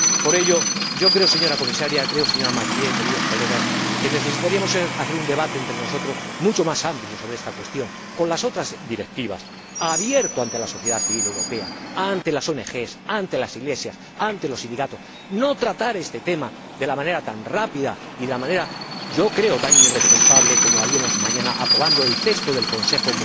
Por ello, yo creo, señora Comisaria, señora Mathieu, queridos colegas, que necesitaríamos hacer un debate entre nosotros mucho más amplio sobre esta cuestión, con las otras directivas, abierto ante la sociedad civil europea, ante las ONG, ante las Iglesias, ante los sindicatos, no tratar este tema de la manera tan rápida y de la manera yo creo también tan irresponsable como haríamos mañana si aprobáramos el texto del Consejo.